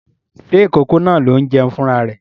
Ṣé ìkókó náà ló ń jẹun fún ra rẹ̀?